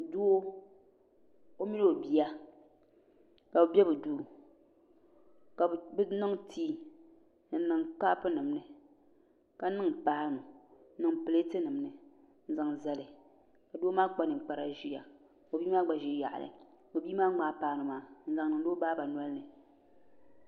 Doo o mini o bia ka bi bɛ bi duu ka bi niŋ tii n niŋ kaapu nim ni ka niŋ paanu n niŋ pileeti nim ni n zaŋ zali ka doo maa kpa ninkpara ʒiya ka bia maa gba ʒi yaɣali ka bia maa ŋmaai paanu maa n zaŋ niŋdi o baa nolini